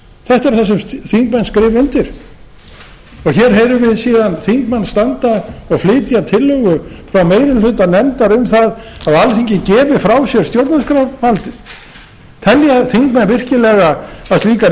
þetta er það sem þingmenn skrifa undir hér heyrum við síðan þingmenn standa og flytja tillögu frá meiri hluta nefndar um það að alþingi gefi frá sér stjórnarskrárvaldið telja þingmenn virkilega að slíkar